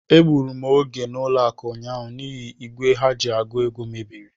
Egbụrụ m oge n'ụlọakụ ụnyaahụ n'ihi n'igwe ha ji àgụ̀ ego mebiri.